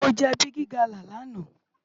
Mó jè bigi gala làná